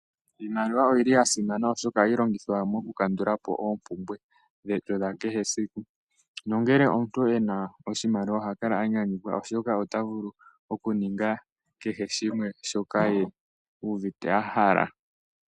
Iimaliwa oyili ya simana oshoka ohayi longithwa moku kandula po oompumbwe dhetu dha kehe esiku. Nongele omuntu e na oshimaliwa oha kala a nyanyukwa oshoka ota vulu okuninga kehe shimwe u uvite a hala.